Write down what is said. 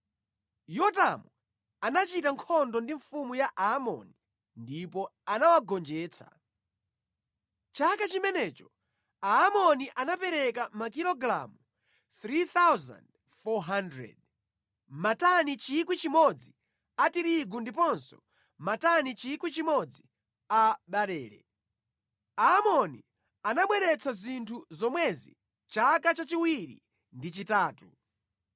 Yotamu anachita nkhondo ndi mfumu ya Aamoni ndipo anawagonjetsa. Chaka chimenecho Aamoni anapereka makilogalamu 3,400, matani 1,000 a tirigu ndiponso matani 1,000 a barele. Aamoni anabweretsa zinthu zomwezi chaka chachiwiri ndi chachitatu.